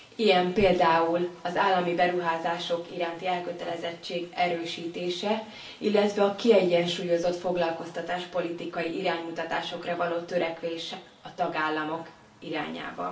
Ilyen például az állami beruházások iránti elkötelezettség erősítése, illetve a kiegyensúlyozott foglalkoztatáspolitikai iránymutatásokra való törekvés a tagállamok irányába.